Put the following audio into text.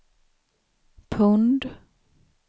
pund